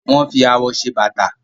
wón fí awọ ṣe Bàtà